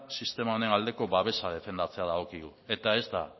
sistema honen aldeko babesa defendatzea dagokigu eta ez da